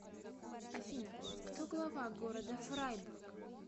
афина кто глава города фрайбург